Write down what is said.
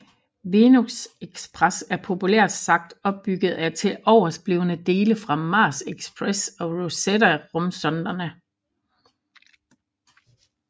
Venus Express er populært sagt opbygget af tiloversblevne dele fra Mars Express og Rosetta rumsonderne